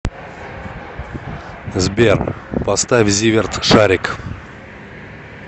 сбер поставь зиверт шарик